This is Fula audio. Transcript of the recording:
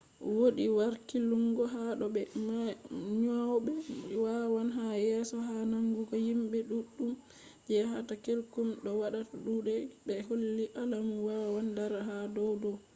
wodi harkilungo ha do be nyauɓe wawan yaha yeso ha nangugo himɓe ɗuɗɗum je yahata kullum do wada kuɗe ta ɓe holli alamu wawan dara ha dow dow